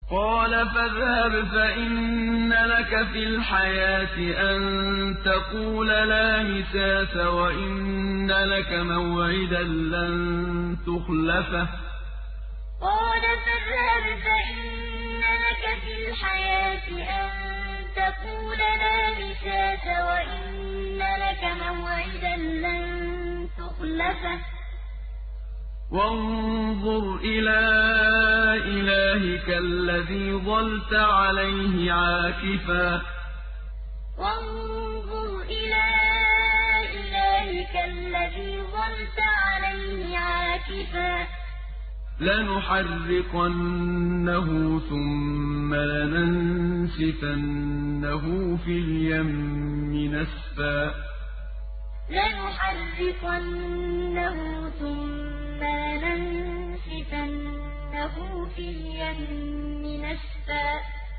قَالَ فَاذْهَبْ فَإِنَّ لَكَ فِي الْحَيَاةِ أَن تَقُولَ لَا مِسَاسَ ۖ وَإِنَّ لَكَ مَوْعِدًا لَّن تُخْلَفَهُ ۖ وَانظُرْ إِلَىٰ إِلَٰهِكَ الَّذِي ظَلْتَ عَلَيْهِ عَاكِفًا ۖ لَّنُحَرِّقَنَّهُ ثُمَّ لَنَنسِفَنَّهُ فِي الْيَمِّ نَسْفًا قَالَ فَاذْهَبْ فَإِنَّ لَكَ فِي الْحَيَاةِ أَن تَقُولَ لَا مِسَاسَ ۖ وَإِنَّ لَكَ مَوْعِدًا لَّن تُخْلَفَهُ ۖ وَانظُرْ إِلَىٰ إِلَٰهِكَ الَّذِي ظَلْتَ عَلَيْهِ عَاكِفًا ۖ لَّنُحَرِّقَنَّهُ ثُمَّ لَنَنسِفَنَّهُ فِي الْيَمِّ نَسْفًا